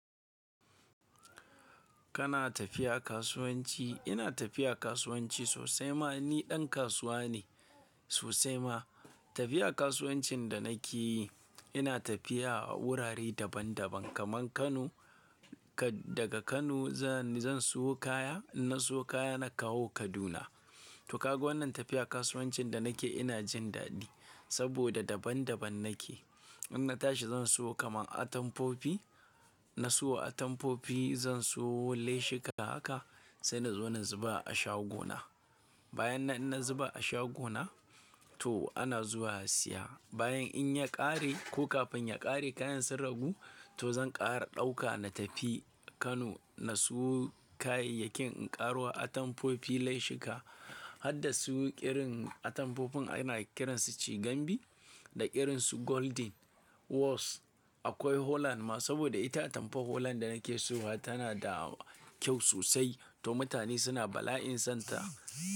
Kana tafiya kasuwanci? Ina tafiya kasuwanci sosai ma. Ni ɗan kasuwa ne sosai ma. Tafiya kasuwancin da nake yi, ina tafiya a wurare daban-daban kamar Kano. Ka-- daga Kano za-- zan siyo kaya. In na siyo kaya, na kawo Kaduna. To, kago wannan tafiya kasuwancin da nake ina jin daɗi saboda daban-daban nake. In na tashi zan siyo kamar atamfofi. Na siyo atamfofi, zan siyo leshika haka sai na zo na zuba a shagona. Bayan na-- in na zuba a shagona to ana zuwa siya. Bayan in ya ƙare ko kafin ya ƙare kayan sun ragu, to zan ƙara ɗauka na tafi Kano na siyo kayayyakin in ƙaro atamfofi, leshika. Hadda su yi irin atamfofin ana kiransu cigambi da irinsu Golden, Waxs. Akwai Holland ma saboda ita atamfa Holland da nake siyowa tana da kyau sosai to mutane suna bala'in son ta.